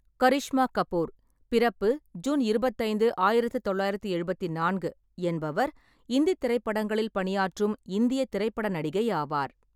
கரிஷ்மா கபூர் (பிறப்பு ஜூன் இருபத்தைந்து, ஆயிரத்து தொள்ளாயிரத்து எழுபத்தி நான்கு) என்பவர் இந்தித் திரைப்படங்களில் பணியாற்றும் இந்தியத் திரைப்பட நடிகை ஆவார்.